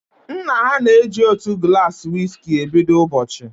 Nna ha na eji otu gulasi wiski e bido ụbọchị